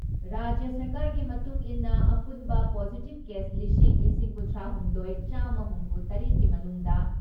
ꯔꯥꯖ꯭ꯌ ꯁꯔꯀꯥꯔꯒꯤ ꯃꯇꯨꯡ ꯏꯟꯅ ꯑꯄꯨꯟꯕ ꯄꯣꯖꯤꯇꯤꯞ ꯀꯦꯁ ꯂꯤꯁꯤꯡ ꯂꯤꯁꯤꯡ ꯀꯨꯟꯊ꯭ꯔꯥ ꯍꯨꯝꯗꯣꯏ ꯆꯥꯝꯃ ꯍꯨꯝꯐꯨ ꯇꯔꯦꯠꯀꯤ ꯃꯅꯨꯡꯗ